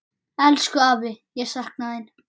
Elsku afi, ég sakna þín.